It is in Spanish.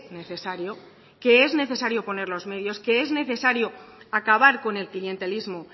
necesario que es necesario poner los medios que es necesario acabar con el clientelismo